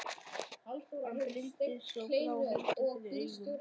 Hann blindaðist og brá hendinni fyrir augun.